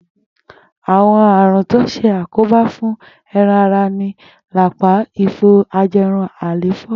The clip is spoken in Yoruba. Àwo̩n àrùn tó ń s̩àkóbá fún e̩ran ara ni lápá, ifo, aje̩run, àléfó̩.